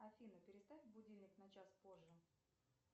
афина переставь будильник на час позже